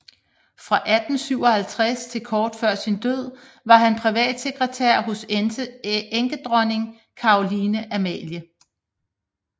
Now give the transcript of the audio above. Fra 1857 til kort før sin død var han privatsekretær hos enkedronning Caroline Amalie